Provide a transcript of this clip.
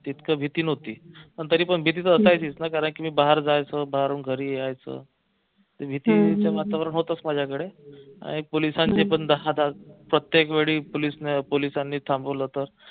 तितकं भीती नव्हती पण तरी पण भीतीच वाटायचीच ना कारंकी मी बाहेर जायचो बाहेरून घरी यायचो भीतीच वातावरण होतच माझ्याकडे आणि पोलिसांचे पण दहा दहा प्रत्येकवेळी पोलिसांनी थांबवलं होत